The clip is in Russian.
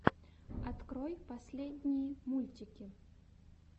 открой последние мультики